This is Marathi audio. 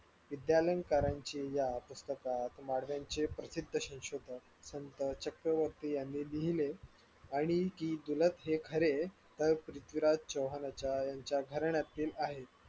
विद्यालयकरांची या पुस्तकात प्रसिद्ध संशोधक संत चक्रवर्ती यांनी लिहिले आणि जी खरे फुल पृथ्वीराज चव्हाण यांच्या घराण्यात